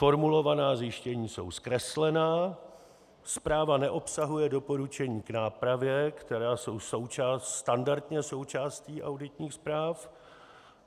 Formulovaná zjištění jsou zkreslená, zpráva neobsahuje doporučení k nápravě, která jsou standardně součástí auditních zpráv.